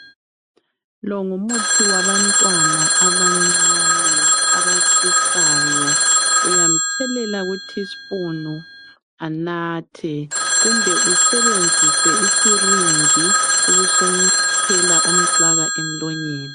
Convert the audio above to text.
Lowumuthi wabantwana abancane abatshisayo uyamthelela kutispunu anathe kumbe u usebenzise isilinji busumfaka emlonyeni